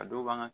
A dɔw b'an ka